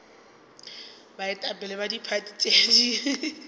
baetapele ba diphathi tše di